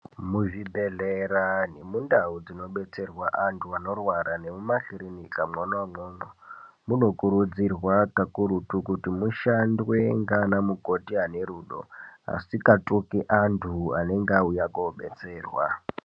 Muzvibhehlera nemundau munodetserwa antu anorwara nemumakirinika mwona umwomwo munokurudzirwa pakurutu kuti mushandwe nanamukoti anerudo asikatuki antu anenge auya kobetserwa.